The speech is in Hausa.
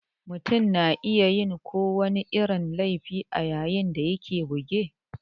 Mutum na iya yin ko wani irin laifi a yayin da yake a buge